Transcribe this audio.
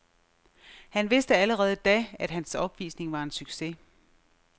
Han vidste allerede da, at hans opvisning var en succes.